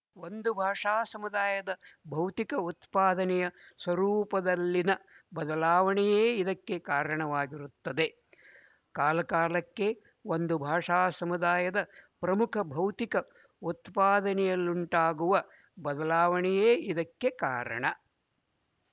ಒಂದು ಭಾಷಾ ಸಮುದಾಯದ ಭೌತಿಕ ಉತ್ಪಾದನೆಯ ಸ್ವರೂಪದಲ್ಲಿನ ಬದಲಾವಣೆಯೇ ಇದಕ್ಕೆ ಕಾರಣವಾಗಿರುತ್ತದೆ ಕಾಲಕಾಲಕ್ಕೆ ಒಂದು ಭಾಷಾ ಸಮುದಾಯದ ಪ್ರಮುಖ ಭೌತಿಕ ಉತ್ಪಾದನೆಯಲ್ಲುಂಟಾಗುವ ಬದಲಾವಣೆಯೆ ಇದಕ್ಕೆ ಕಾರಣ